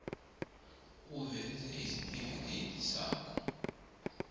uveze isitifikedi sakho